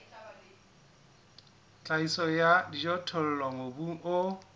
tlhahiso ya dijothollo mobung o